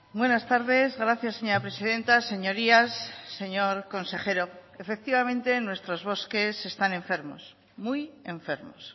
buenas tardes gracias señora presidenta señorías señor consejero efectivamente nuestros bosques están enfermos muy enfermos